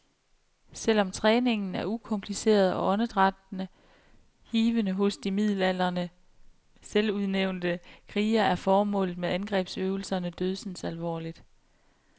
Selv om træningen er ukompliceret og åndedrættet hivende hos de midaldrende selvudnævnte krigere, er formålet med angrebsøvelserne dødsens alvorligt.